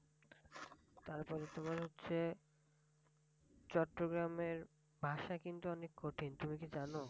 তারপরে তোমার হচ্ছে চট্রগ্রামের ভাষা কিন্তু অনেক কঠিন তুমি কি জানো?